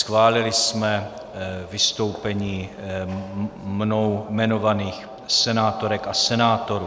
Schválili jsme vystoupení mnou jmenovaných senátorek a senátorů.